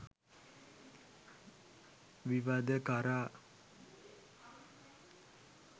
විවද කරා